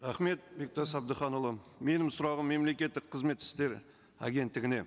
рахмет бектас әбдіханұлы менің сұрағым мемлекеттік қызмет істері агенттігіне